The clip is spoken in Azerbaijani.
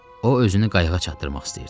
O özünü qayıqa çatdırmaq istəyirdi.